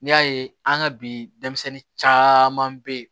N'i y'a ye an ka bi denmisɛnnin caman bɛ yen